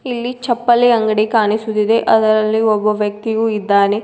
ಇಲ್ಲಿ ಚಪ್ಪಲಿ ಅಂಗಡಿ ಕಾಣಿಸುತ್ತಿದೆ ಅದರಲ್ಲಿ ಒಬ್ಬ ವ್ಯಕ್ತಿಯು ಇದ್ದಾನೆ.